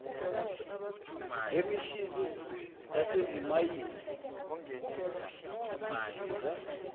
lemishini yasezimayini lisiza